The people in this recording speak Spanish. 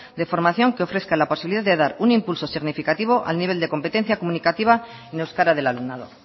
de formación que ofrezca la posibilidad de dar un impulso significativo a nivel de competencia comunicativa en euskara del alumnado